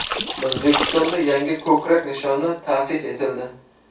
O‘zbekistonda yangi ko‘krak nishoni ta’sis etildi.